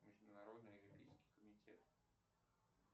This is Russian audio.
международный олимпийский комитет